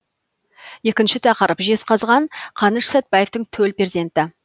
екінші тақырып жезқазған қаныш сәтбаевтың төл перзенті